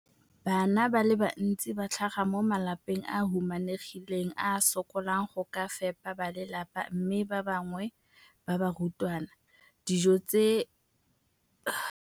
Bana ba le bantsi ba tlhaga mo malapeng a a humanegileng a a sokolang go ka fepa ba lelapa mme ba bangwe ba barutwana, dijo tseo ke tsona fela tse ba di jang ka letsatsi.